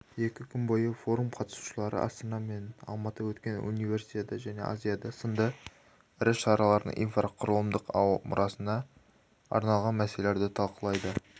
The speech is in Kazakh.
екі күн бойы форум қатысушылары астана мен алматыда өткен универсиада және азиада сынды ірі шаралардың инфрақұрылымдық мұрасына арналған мәселелерді талқылайды